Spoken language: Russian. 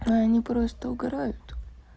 они просто угорают